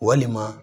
Walima